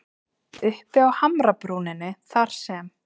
Uppi á hamrabrúninni þar sem